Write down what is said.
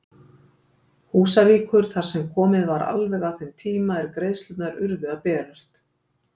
Húsavíkur þar sem komið var alveg að þeim tíma er greiðslurnar urðu að berast.